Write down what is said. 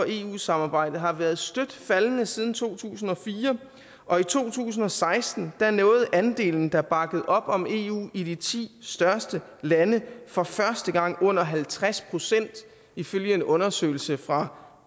eu samarbejdet har været støt faldende siden to tusind og fire og i to tusind og seksten nåede andelen der bakker op om eu i de ti største lande for første gang under halvtreds procent ifølge en undersøgelse fra